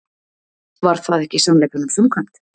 Var það ekki sannleikanum samkvæmt?